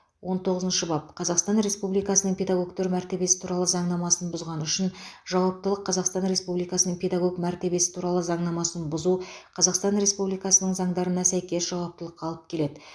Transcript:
он тоғызыншы бап қазақстан республикасының педагогтер мәртебесі туралы заңнамасын бұзғаны үшін жауаптылық қазақстан республикасының педагог мәртебесі туралы заңнамасын бұзу қазақстан республикасының заңдарына сәйкес жауаптылыққа алып келеді